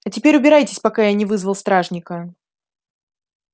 а теперь убирайтесь пока я не вызвал стражника